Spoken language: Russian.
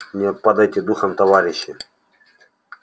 не падайте духом товарищи